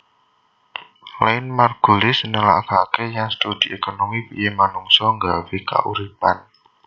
Lynn Margulis nelakaké yèn studi ékonomi priyé manungsa nggawé kauripan